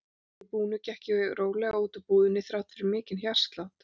Að því búnu gekk ég rólega út úr búðinni þrátt fyrir mikinn hjartslátt.